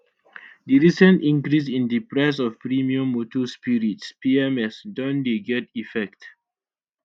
di recent increase in di price of premium motor spirits pms don dey get effect